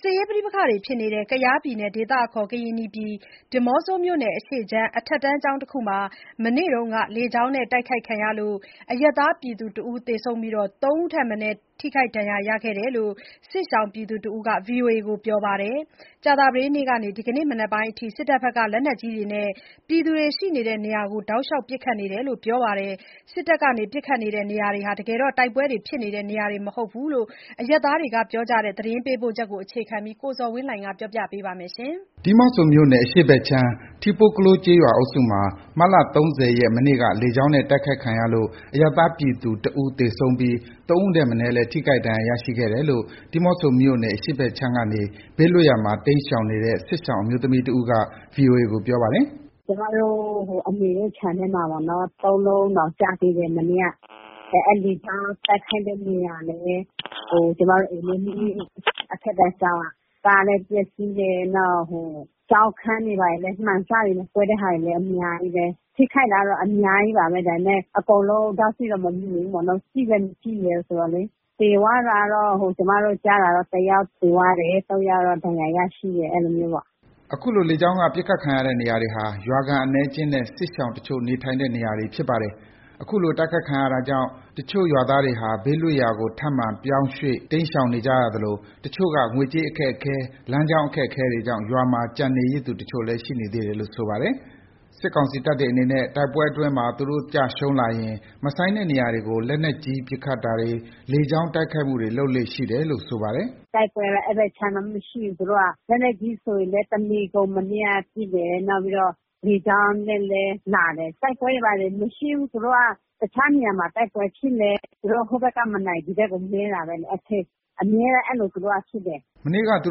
စစ်ရေးပဋိပက္ခဖြစ်နေတဲ့ ကယားပြည်နယ်၊ ဒေသအခေါ် ကရင်နီပြည်နယ်၊ ဒီးမော့ဆိုမြို့နယ် အရှေ့ခြမ်း အထက်တန်းကျောင်းတစ်ခုမှာ မနေ့က လေကြောင်းနဲ့ တိုက်ခိုက်ခံရလို့ အရပ်သားပြည်သူ ၁ ဦးသေပြီး ၃ ဦးထက်မနည်း ဒဏ်ရာရရှိတယ်လို့ စစ်ရှောင်တဦးက VOA ကို ပြောပါတယ်။ မနေ့က တနေကုန် လက်နက်ကြီး အလွန်အကျွံအသုံးပြုပစ်ခတ်နေသလို ဒီနေ့မနက်ပိုင်းအထိလည်း တောက်လျှောက် ပစ်ခတ်နေတယ်လို့ ဆိုပါတယ်။ စစ်ကောင်စီတပ်တွေဟာ လက်နက်မရှိတဲ့ အရပ်သားပြည်သူတွေအပေါ် လူသားချင်းစာနာမှုမထားဘဲ တိုက်ခိုက်နေတာလို့ ဒေသခံတွေက ပြောဆိုပါတယ်။ ဒီအကြောင်း သတင်းပေးပို့ချက်ကို အခြေခံပြီး ကိုဇော်ဝင်းလှိုင်က ပြောပြပါမယ်။ ဒီးမော့ဆိုမြို့နယ် အရှေ့ဖက်ခြမ်း ထီးပိုးကလိုး ကျေးရွာအုပ်စုမှာ မတ်လ ၃၀ ရက် မနေ့က လေကြောင်းနဲ့ တိုက်ခိုက်ခံရလို့ အရပ်သားပြည်သူ တစ်ဦးသေဆုံးပြီး ၃ ဦးထက်မနည်းလည်း ထိခိုက် ဒဏ်ရာရရှိခဲ့တယ်လို့ ဒီးမော့ဆိုမြို့နယ် အရှေ့ခြမ်းကနေ ဘေးလွတ်ရာမှာ တိမ်းရှောင်နေတဲ့ စစ်ရှောင်အမျိုးသမီးတဦးက VOA ကို ပြောပါတယ်။ “ကျမတို့ အမေတို့ခြံထဲမှာပေ့ါနော်၊ သုံးလုံးတောင်ကျသေးတယ် မနေ့က။ အဲ့လေကြောင်းတိုက်ခိုက်တဲ့ နေရာလည်း ကျမတို့ အထက်တန်းကျောင်းက ကားလည်းပျက်စီးတယ်။ နောက် ကျောင်းခန်းတွေ ဘာတွေလည်း မှန်စတွေ ကွဲတဲ့ဟာတွေလည်း အများကြီးပဲ။ ထိခိုက်တာတော့ အများကြီးပါပဲ။ ဒါပေမယ့် အကုန်လုံး ဒေါက်စိတော့ မမြင်ဘူးပေါ့နော်။ ကြည့်လည်း မကြည့်ရဲဘူးဆိုတော့။ သေသွားတာတော့ ကျမတို့ကြားတာကတော့ တစ်ယောက် သေသွားသွားတယ်။ သုံးယောက်တော့ ဒဏ်ရာရရှိတယ် အဲ့လိုမျိုးပေါ့။” ဒီလို လေကြောင်းက ပစ်ခတ်ခံရတဲ့နေရာတွေဟာ ရွာခံအနည်းအကျဉ်းနဲ့ စစ်ရှောင်တချို့နေထိုင်တဲ့ နေရာတွေဖြစ်ပါတယ်။ အခုလို တိုက်ခိုက်ခံရတာကြောင့် တချို့သူတွေက ဘေးလွတ်ရာကို ထပ်မံပြောင်းရွှေ့ပြောင်း တိမ်းရှောင်နေကြသလို တချို့သူက ငွေကြေးအခက်အခဲ၊ လမ်းကြောင်းအခက်အခဲတွေကြောင့် ရွာမှာ ကျန်နေသူတချို့လည်း ရှိသေးတယ်လို့ ဆိုပါတယ်။ စစ်ကောင်စီတပ်တွေအနေနဲ့ တိုက်ပွဲအတွင်းမှာ သူတို့ကျရှုံးလာရင် မဆိုင်တဲ့နေရာတွေကို လက်နက်ကြီးပစ်ခတ်တွေ၊ လေကြောင်း တိုက်ခိုက်မှုတွေ လုပ်လေ့ရှိတယ်လို့ ဆိုပါတယ်။ “တိုက်ပွဲက အဲ့ဘက်ခြမ်းမရှိဘူး။ သူတို့က လက်နက်ကြီးဆိုလည်း တစ်နေ့ကုန် မနေ့က ပစ်တယ်။ နောက်ပြီးတော့ လေကြောင်းနဲ့လည်း လာတယ်။ တိုက်ပွဲတွေဘာတွေ မရှိဘူး။ သူတို့က တခြားနေရာမှာ တိုက်ပွဲဖြစ်လည်း သူတို့ဟိုဘက်ကမနိုင် ဒီဘက်ကို မဲတာပဲ၊ အမြဲတမ်း အဲလို သူတို့က ဖြစ်တယ်။” မနေ့က သူ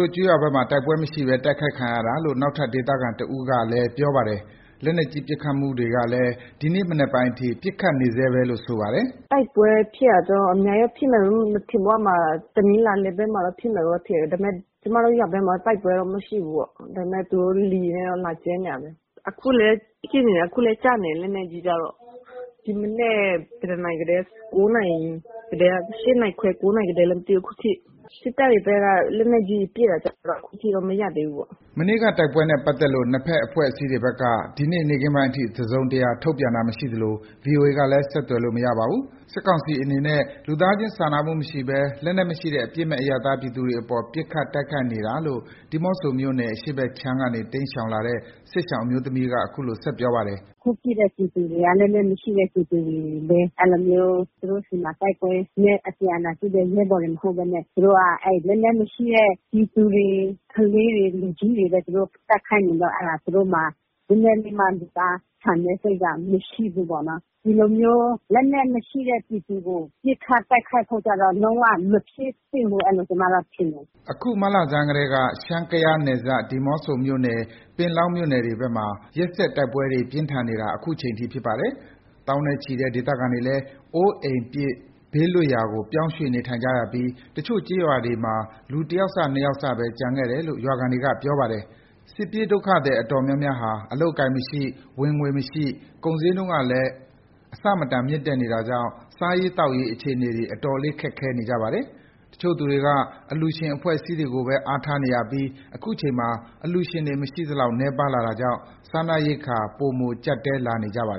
တို့ကျေးရွာဘက်မှာ တိုက်ပွဲမရှိဘဲ တိုက်ခိုက်ခံရတာလို့ နောက်ထပ်ဒေသခံတဦးကလည်း ပြောပါတယ်။ လက်နက်ကြီး ပစ်ခတ်မှုတွေကလည်း ဒီနေ့ မနက်ပိုင်းအထိ ရှိနေဆဲပဲလို့ ဆိုပါတယ်။ “တိုက်ပွဲဖြစ်တာကျတော့ အများကြီးဖြစ်မယ်လို့တော့ မထင်ဘူး အဲ့မှာ၊ တနီးလားရွာဘက်မှာတော့ ဖြစ်မယ်တော့ ထင်တယ်။ ဒါပေမယ့် ကျမတို့ ရွာဘက်မှာတော့ တိုက်ပွဲတော့ မရှိဘူးပေါ့။ ဒါမယ့် သူတို့က လေယာဉ်နဲ့ လာကျဲနေတာပဲ။ အခုလည်း ပစ်နေတယ်၊ အခုလည်းကျနေတယ် လက်နက်ကြီးကတော့။ ဒီမနက် ဘယ်နှစ်နာရီလဲ…. ၈နာရီခွဲ၊ ၉ နာရီကတည်းကလား မသိဘူး၊ အခုထိ စစ်တပ်တွေဖက်က လက်နက်ကြီး ပစ်တာတော့ အခုထိတော့ မရပ်သေးဘူးပေါ့။” မနေ့တိုက်ပွဲနဲ့ ပတ်သက်လို့ နှစ်ဖက်အဖွဲ့အစည်းတွေက ဒီနေ့ နေ့ခင်းပိုင်းအထိ တစုံတရာ ထုတ်ပြန်တာမရှိသလို VOA ကလည်း ဆက်သွယ်လို့ မရပါဘူး။ စစ်ကောင်စီတွေအနေနဲ့ လူသားချင်း စာနာမှုမရှိဘဲ လက်နက်မရှိတဲ့ အပြစ်မဲ့အရပ်သား ပြည်သူတွေအပေါ် ပစ်ခတ်တိုက်ခိုက်နေတာလို့ ဒီးမော့ဆိုမြို့နယ် အရှေ့ခြမ်းကနေ တိမ်းရှောင်လာတဲ့ စစ်ရှောင်အမျိုးသမီးက အခုလို ဆက်ပြောပါတယ်။ “အခုပစ်တဲ့ပြည်သူတွေက လက်နက်မရှိတဲ့ပြည်သူတွေ။ တိုက်ပွဲနဲ့ အပြန်အလှန်ပစ်တဲ့ ရဲဘော်တွေ မဟုတ်ပဲနဲ့ သူတို့က လက်နက်မရှိတဲ့ ပြည်သူတွေ၊ ကလေးတွေ၊ လူကြီးတွေပဲ သူတို့ တိုက်ခိုက်နေတော့ အဲ့ဒါ သူတို့မှာ နည်းနည်းလေးမှ လူသားဆန်တဲ့စိတ်က မရှိဘူးပေါ့နော်။ ဒီလိုမျိုးလက်နက်မရှိတဲ့ ပြည်သူကို ပစ်ခတ် တိုက်ခိုက်ဖို့ကျတော့ လုံးဝမဖြစ်သင့်ဘူး၊ အဲ့လိုကျမတော့ ထင်တယ်။” အခုနှစ် မတ်လဆန်ပိုင်းကတည်းက ရှမ်း-ကယားနယ်စပ် ဒီးမော့ဆိုမြို့နယ်၊ ပင်လောင်းမြို့နယ်တွေမှာ ရက်ဆက်တိုက်ပွဲတွေ ပြင်းထန်နေတာ ခုချိန်ထိ ဖြစ်ပါတယ်။ သောင်းနဲ့ချီတဲ့ ဒေသခံတွေလည်း အိုးပစ်အိမ်ပစ် ဘေးလွတ်ရာကို ပြောင်းရွှေ့နေထိုင်ကြရပြီး တချို့ကျေးရွာတွေမှာ လူတစ်ယောက်စ နှစ်ယောက်စဘဲ ကျန်ခဲ့တယ်လို့ ရွာခံတွေက ပြောပါတယ်။ စစ်ပြေးဒုက္ခသည်အတော်များများဟာ အလုပ်အကိုင်မရှိ၊ ဝင်ငွေမရှိ၊ ကုန်ဈေးနှုန်းက အမတန်မြင့်တက်နေတာကြောင့် စားရေး သောက်ရေး အခြေအနေတွေ အတော်လေး ခက်ခဲနေကြပါတယ်။ တချို့သူတွေက အလှူရှင်အဖွဲ့အစည်းကိုပဲ အားထားနေရပြီး ခုချိန်မှာ အလှူရှင်တွေ မရှိသလောက် နည်းပါးလာတာကြောင့် စားနပ်ရိက္ခာတွေ ပိုမို ကြပ်တည်းလာနေပါတယ်